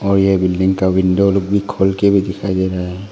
और ये बिल्डिंग का विंडो लोग भी खोल के भी दिखाई दे रहा है।